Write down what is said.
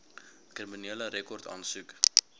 kriminele rekord aansoek